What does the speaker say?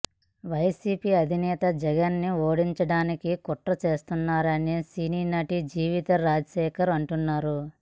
YCP అధినేత జగన్ ని ఓడించడానికి కుట్రలు చేస్తున్నారని సినీ నటి జీవితా రాజశేఖర్ అంటున్నారు